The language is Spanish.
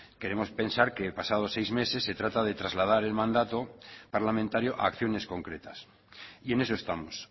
queremos pensar que pasados seis meses se trata de trasladar el mandato parlamentario a acciones concretas y en eso estamos